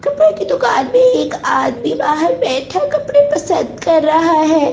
कपड़े की दुकान में एक आदमी बाहर बैठा कपड़े पसंद कर रहा है ।